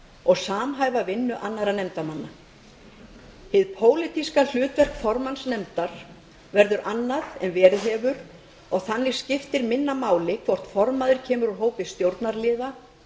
og samhæfa vinnu annarra nefndarmanna hið pólitíska hlutverk formanns nefndar verður annað en verið hefur og þannig skiptir minna máli hvort formaður kemur úr hópi stjórnarliða